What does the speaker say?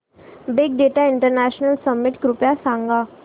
big data international summit कृपया सांगा